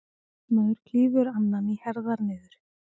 Maður klýfur annan í herðar niður.